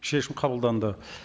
шешім қабылданды